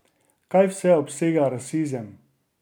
Kaj vse obsega rasizem?